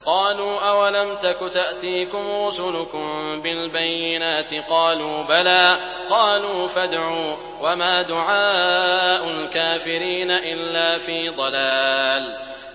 قَالُوا أَوَلَمْ تَكُ تَأْتِيكُمْ رُسُلُكُم بِالْبَيِّنَاتِ ۖ قَالُوا بَلَىٰ ۚ قَالُوا فَادْعُوا ۗ وَمَا دُعَاءُ الْكَافِرِينَ إِلَّا فِي ضَلَالٍ